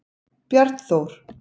Bjarnþór